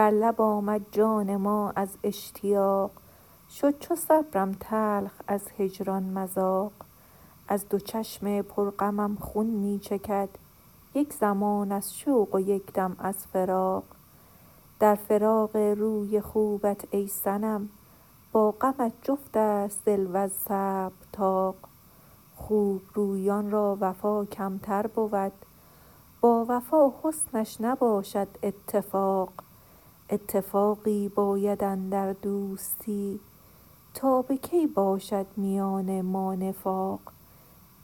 بر لب آمد جان ما از اشتیاق شد چو صبرم تلخ از هجران مذاق از دو چشم پر غمم خون می چکد یک زمان از شوق و یک دم از فراق در فراق روی خوبت ای صنم با غمت جفتست دل وز صبر طاق خوبرویان را وفا کمتر بود با وفا حسنش نباشد اتفاق اتفاقی باید اندر دوستی تا به کی باشد میان ما نفاق